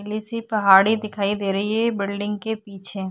नीली सी पहाड़ी दिखाई दे रही है ये बिल्डिंग के पीछे।